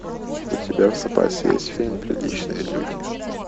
у тебя в запасе есть фильм приличные люди